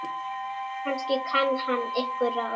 Kannski kann hann einhver ráð.